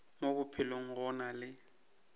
mo bophelong go na le